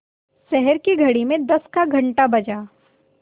शहर की घड़ी में दस का घण्टा बजा